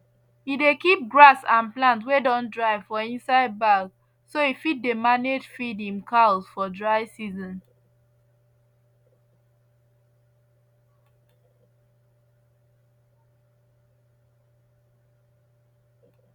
he dey kip grass and plant wey don dry for inside bag so e fit dey manage feed im cows for dry season